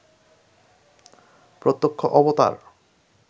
প্রত্যক্ষ অবতার